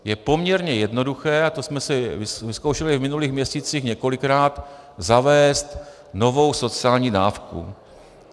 Je poměrně jednoduché, a to jsme si vyzkoušeli v minulých měsících několikrát, zavést novou sociální dávku.